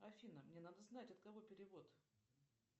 афина мне надо знать от кого перевод